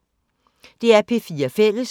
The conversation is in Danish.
DR P4 Fælles